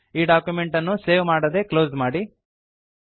ಈ ಡಾಕ್ಯುಮೆಂಟ್ ಅನ್ನು ಸೇವ್ ಮಾಡದೇ ಕ್ಲೋಸ್ ಮಾಡಿ